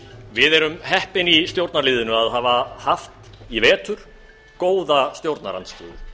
við erum heppin í stjórnarliðinu að hafa haft í vetur góða stjórnarandstöðu